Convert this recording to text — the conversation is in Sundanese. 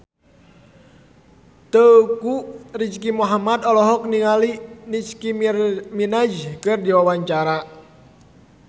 Teuku Rizky Muhammad olohok ningali Nicky Minaj keur diwawancara